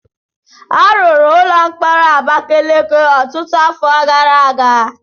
A rụrụ ụlọ mkpọrọ Abakeleke ọtụtụ afọ gara aga.